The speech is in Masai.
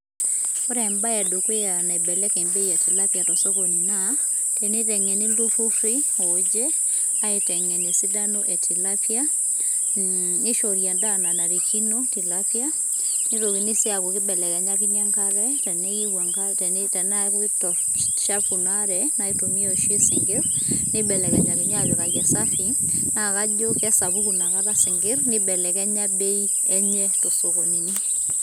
Ore embae edukuya ,naibelekeny bei etilapia tosokoni naa, teneitengeni iltururi oje, aitengen esidano etilapia mm neishori endaa nanarikino tilapia nitokini sii aku kibelekenyakini enkare teneyu te te teniaku chafu ina are naitumia oshi isinkir, neibelekenyakini apikaki esafi, naa kajo kesapuku nakata isinkir neibelekenya bei enye tosokonini.